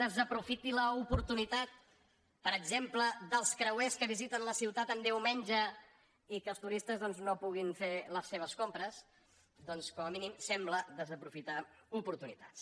desaprofiti l’oportunitat per exemple dels creuers que visiten la ciutat els diumenges i que els turistes no puguin fer les seves compres doncs com a mínim sembla desaprofitar oportunitats